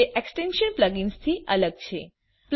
જોકે એક્સ્ટેંશન્સ પ્લગઇન્સથી અલગ છે